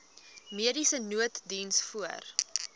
mediese nooddiens voor